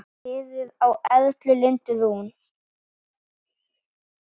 Fyrir á Erla Lindu Rún.